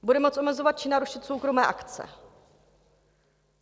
Bude moct omezovat či narušit soukromé akce.